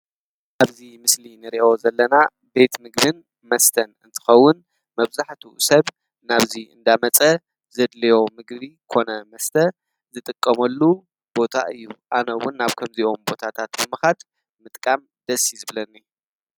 ኣብዙ ምስሊ ንሬኦ ዘለና ቤት ምግምን መስተን እንትኸውን መብዛሕት ሰብ ናብዙይ እንዳመጸ ዘድልዮ ምግቢ ኮነ መስተ ዝጥቀመሉ ቦታ እዩ ኣነውን ናብ ከምዚኦም ቦታታት ምምኻት ምጥቃም ደስ ይዝብለኒ።